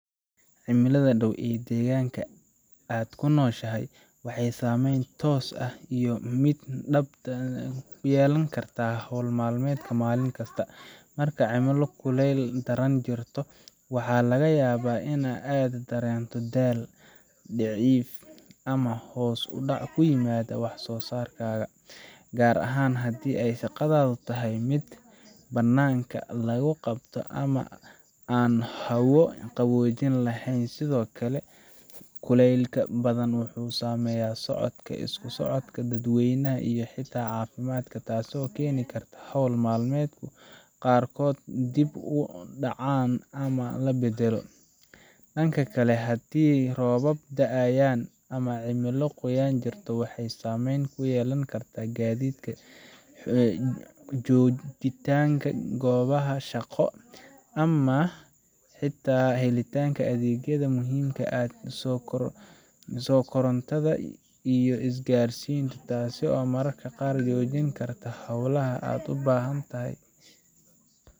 Cimilada dhow ee deegaanka aad ku nooshahay waxay saameyn toos ah iyo mid dadbanba ku yeelan kartaa hawl maalmeedkaaga maalin kasta. Marka cimilo kuleyl daran jirto, waxaa laga yaabaa in aad dareento daal, diif, ama hoos u dhac ku yimaada wax soo saarkaaga, gaar ahaan haddii shaqadaadu tahay mid bannaanka lagu qabto ama aan hawo qaboojiye lahayn. Sidoo kale, kulaylka badan wuxuu saameeyaa socodka, isku socodka dadweynaha, iyo xitaa caafimaadka, taasoo keeni karta in hawl maalmeedyo qaarkood dib u dhacaan ama la beddelo. Dhanka kale, haddii roobab da’ayaan ama cimilo qoyan jirto, waxay saameyn ku yeelan kartaa gaadiidka, joogitaanka goobaha shaqo, ama xitaa helitaanka adeegyada muhiimka ah sida korontada iyo isgaarsiinta, taasoo mararka qaar joojin karta hawlaha aad u baahantahay